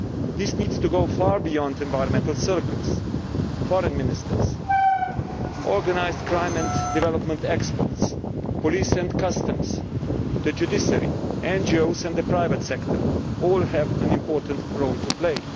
This needs to go far beyond environmental circles foreign ministers, organised crime and development experts, police and customs, the judiciary, NGOs and the private sector all have an important role to play.